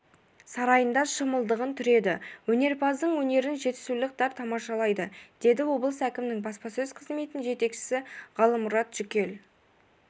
сарайында шымылдығын түреді өнерпаздың өнерін жетісулықтар тамашалайды деді облыс әкімінің баспасөз қызметінің жетекшісі ғалымұрат жүкел